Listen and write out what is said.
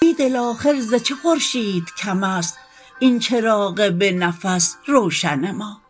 بیدل آخر ز چه خورشید کم است این چراغ به نفس روشن ما